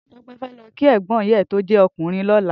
Tope fè lò kí ègbòn ìyá è tó jè òkúnrìn lòlá